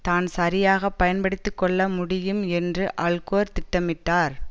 தான் சரியாக பயன்படுத்தி கொள்ள முடியும் என்று அல்கோர் திட்டமிட்டார்